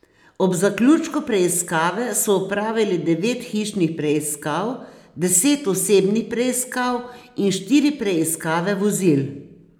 Ob zaključku preiskave so opravili devet hišnih preiskav, deset osebnih preiskav in štiri preiskave vozil.